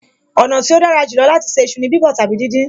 Ọ̀nà tí ó dára jù lọ láti ṣe iṣu ni bíbọ̀ tàbí díndín